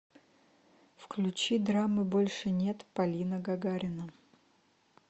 включи драмы больше нет полина гагарина